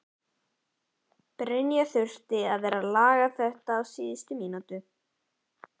Brynja: Þurftirðu að vera að laga þetta á síðustu mínútunum?